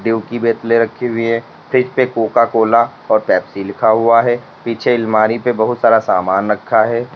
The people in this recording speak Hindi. रखी हुई हैं फ्रिज पे कोका कोला और पेप्सी लिखा हुआ है पीछे अलमारी पर बहुत सारा सामान रखा है।